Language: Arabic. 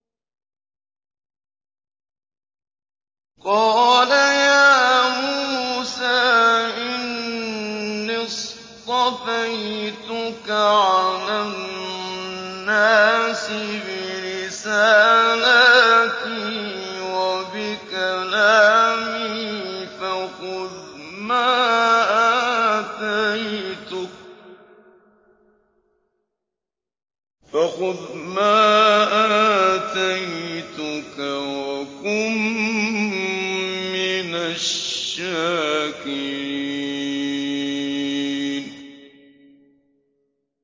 قَالَ يَا مُوسَىٰ إِنِّي اصْطَفَيْتُكَ عَلَى النَّاسِ بِرِسَالَاتِي وَبِكَلَامِي فَخُذْ مَا آتَيْتُكَ وَكُن مِّنَ الشَّاكِرِينَ